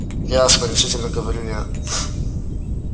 ясно решительно говорю я